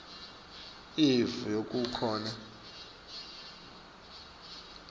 ilivu yekungakhoni kusebenta